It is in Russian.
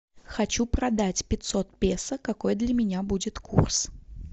хочу продать пятьсот песо какой для меня будет курс